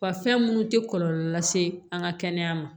Wa fɛn munnu tɛ kɔlɔlɔ lase an ka kɛnɛya ma